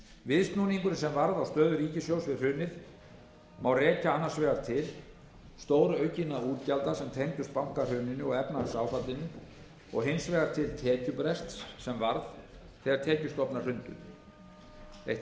viðsnúninginn sem varð á stöðu ríkissjóðs við hrunið má rekja annars vegar til stóraukinna útgjalda sem tengdust bankahruninu og efnahagsáfallinu og hins vegar til tekjubrests sem varð þegar tekjustofnar hrundu eitt